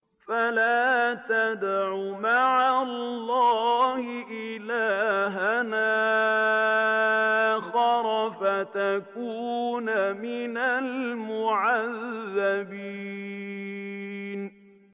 فَلَا تَدْعُ مَعَ اللَّهِ إِلَٰهًا آخَرَ فَتَكُونَ مِنَ الْمُعَذَّبِينَ